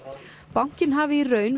bankinn hafi í raun